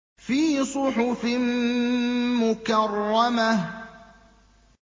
فِي صُحُفٍ مُّكَرَّمَةٍ